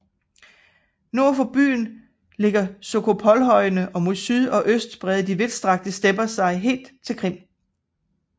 Nord for byen ligger Sokolojhøjene og mod syd og øst breder de vidststrakte stepper sig helt til Kina